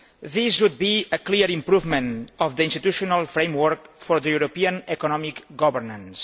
This would be a clear improvement of the institutional framework for European economic governance.